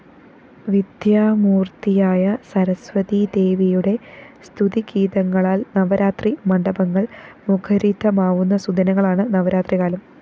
വിദ്യാമൂര്‍ത്തിയായ സരസ്വതീദേവിയുടെ സ്തുതിഗീതങ്ങളാല്‍ നവരാത്രി മണ്ഡപങ്ങള്‍ മുഖരിതമാവുന്ന സുദിനങ്ങളാണ് നവരാത്രികാലം